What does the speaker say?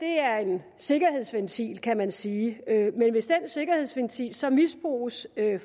sikkerhedsventil kan man sige men hvis den sikkerhedsventil så misbruges af